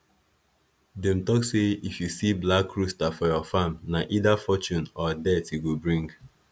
them tok say if you see black rooster for your farm na either fortune or death e go bring